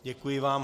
Děkuji vám.